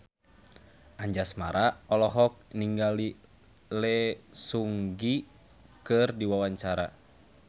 Anjasmara olohok ningali Lee Seung Gi keur diwawancara